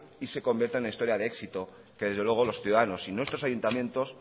y se convierta en una historia de éxito que desde luego los ciudadanos y nuestros ayuntamientos